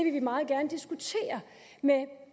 med